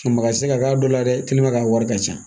Baga ti se ka k'a dɔ la dɛ a wari ka ca